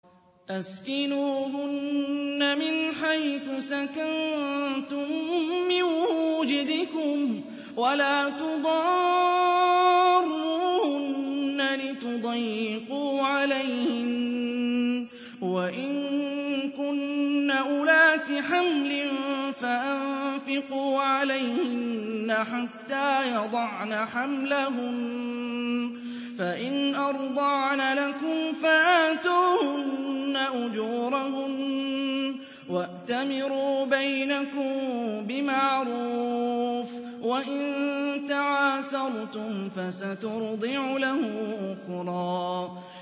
أَسْكِنُوهُنَّ مِنْ حَيْثُ سَكَنتُم مِّن وُجْدِكُمْ وَلَا تُضَارُّوهُنَّ لِتُضَيِّقُوا عَلَيْهِنَّ ۚ وَإِن كُنَّ أُولَاتِ حَمْلٍ فَأَنفِقُوا عَلَيْهِنَّ حَتَّىٰ يَضَعْنَ حَمْلَهُنَّ ۚ فَإِنْ أَرْضَعْنَ لَكُمْ فَآتُوهُنَّ أُجُورَهُنَّ ۖ وَأْتَمِرُوا بَيْنَكُم بِمَعْرُوفٍ ۖ وَإِن تَعَاسَرْتُمْ فَسَتُرْضِعُ لَهُ أُخْرَىٰ